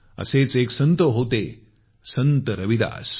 असेच एक संत होतेसंत रविदास